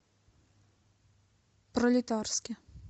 пролетарске